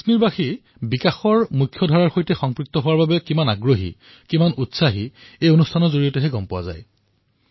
কাশ্মীৰৰ জনতাই বিকাশৰ মুখ্যধাৰাৰ সৈতে অংশীদাৰ হোৱাৰ বাবে কিমান অধীৰ সেয়া এই কাৰ্যসূচীৰ পৰা গম পোৱা যায়